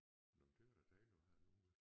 Nåh men det var da dejligt at have en ugle